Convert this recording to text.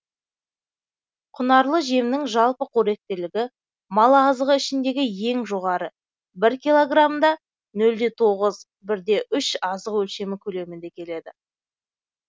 құнарлы жемнің жалпы қоректілігі мал азығы ішіндегі ең жоғары бір килограммда нөл де тоғыз бір де үш азық өлшемі көлеміңде келеді